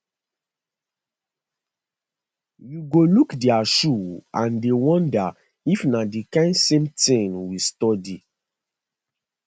you go look dia shoe and dey wonder if na di kain same tin we study